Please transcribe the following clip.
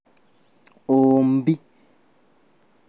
ũũmbi